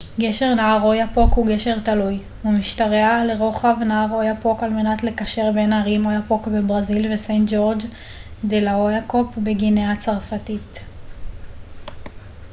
גשר נהר אוייפוק הוא גשר תלוי הוא משתרע לרוחב נהר אוייפוק על מנת לקשר בין הערים אוייפוק בברזיל וסיינט ג'ורג' דה ל'אוייפוק בגיאנה הצרפתית